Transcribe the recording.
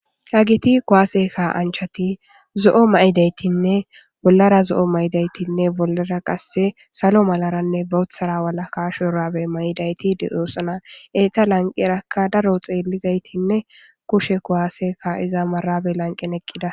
hagiti kowaase ka anchati zo7o may7idaytinne bollara zo7o mayidaytinne bollara qasse salo malaranne boothara wala kashorabe mayidayti de7oosana eta lanqerakka daro xeelizaytinne kushe kowaaseka iza marabe lanqen eqqida